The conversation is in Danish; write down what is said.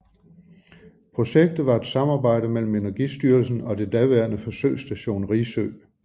Projektet var et samarbejde mellem Energistyrelsen og det daværende Forsøgsstation Risø